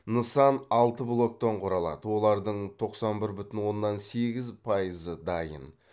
нысан алты блоктан құралады олардың тоқсан бір бүтін оннан сегіз пайызы дайын